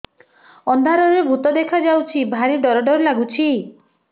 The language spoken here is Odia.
ଅନ୍ଧାରରେ ଭୂତ ଦେଖା ଯାଉଛି ଭାରି ଡର ଡର ଲଗୁଛି